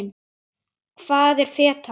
Hvað er feta?